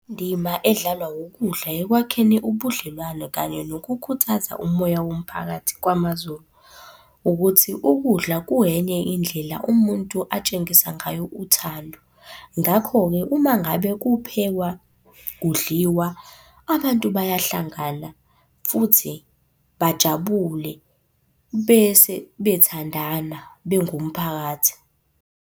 Indima edlalwa wukudla ekwakheni ubudlelwane kanye nokukhuthaza umoya womphakathi kwamaZulu, ukuthi ukudla kungenye indlela umuntu atshengisa ngayo uthando. Ngakho-ke uma ngabe kuphekwa, kudliwa, abantu bayahlangana, futhi bajabule bese bethandana bengumphakathi.